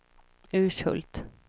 Urshult